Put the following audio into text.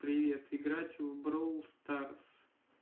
привет играть в броу старс